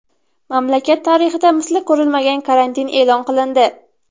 Mamlakat tarixida misli ko‘rilmagan karantin e’lon qilindi .